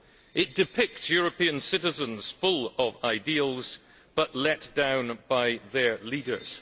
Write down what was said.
It depicts European citizens full of ideals but let down by their leaders.